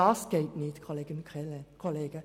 Das geht nicht, Kolleginnen und Kollegen.